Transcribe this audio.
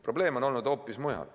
Probleem on olnud hoopis mujal.